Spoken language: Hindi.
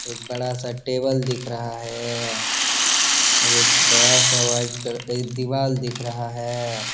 एक बडा़ सा टेबल दिख रहा है एक बडा़ सा वाइट कल का दीवाल दिख रहा है।